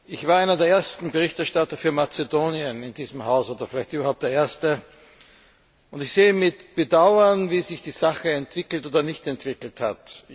Ich war einer der ersten Berichterstatter für Mazedonien in diesem Haus oder vielleicht überhaupt der erste. Ich sehe mit Bedauern, wie sich die Sache entwickelt bzw. nicht entwickelt hat.